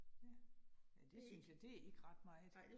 Ja. Ja det synes jeg, det ikke ret meget